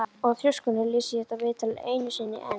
Og í þrjóskunni les ég þetta viðtal einu sinni enn.